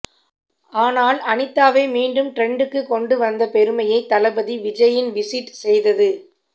ஆனால் அனிதாவை மீண்டும் டிரெண்டுக்கு கொண்டு வந்த பெருமையை தளபதி விஜய்யின் விசிட் செய்தது